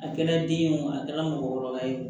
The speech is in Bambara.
A kɛra den ye wo a kɛra mɔgɔkɔrɔba ye